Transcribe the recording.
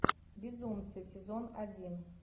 безумцы сезон один